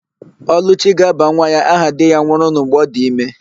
Ọlụchi ga-aba nwa ya aha di ya nwụrụnụ mgbe ọ dị ime.